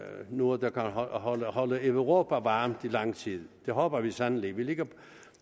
noget der kan holde holde europa varmt i lang tid det håber vi sandelig vi ligger